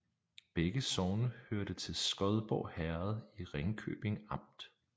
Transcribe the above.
Begge sogne hørte til Skodborg Herred i Ringkøbing Amt